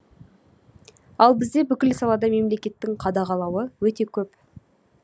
ал бізде бүкіл салада мемлекеттің қадағалауы өте көп